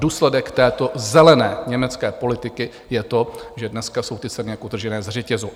Důsledek této zelené německé politiky je to, že dneska jsou ty ceny jak utržené ze řetězu.